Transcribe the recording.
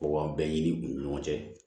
Mɔgɔ bɛn ɲini u ni ɲɔgɔn cɛ